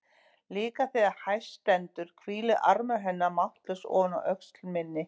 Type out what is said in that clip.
Líka þegar hæst stendur hvílir armur hennar máttlaus ofan á öxl minni.